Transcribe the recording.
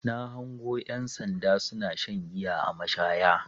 Na hango ƴan sanda suna shan giya a mashaya.